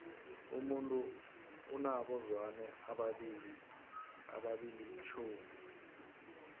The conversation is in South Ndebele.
umuntu unabo zwane abili tjhumi